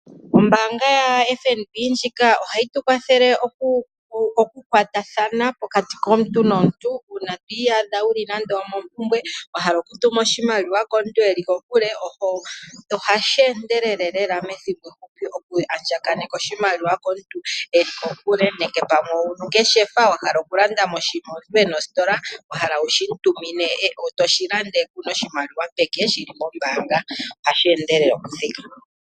Ombaanga yaFNB ndjika ohayi tu kwathele okukwatathana pokati komuntu nomuntu uuna to iyadha wu li nando omompumbwe wa hala okutuma oshimaliwa komuntu e li kokule, ohashi endelele lela methimbo efupi moku andjaganeka oshimaliwa komuntu e li kokule, nenge pamwe ongeshefa wa hala okulanda oshinima omuntu e na ositola wa hala wu shi mu tumine to shi landa kuu na oshimaliwa peke, wu na oshimaliwa shi li kombaanga. Ohashi endelele okuthika.